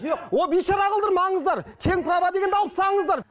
жоқ о бейшара қылдырмаңыздар тең право дегенді алып тастаңыздар